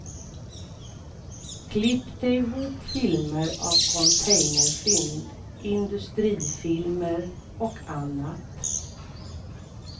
Klippte ihop filmer av containerfynd, industrifilmer och annat.